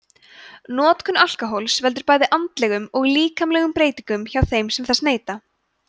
notkun alkóhóls veldur bæði andlegum og líkamlegum breytingum hjá þeim sem þess neyta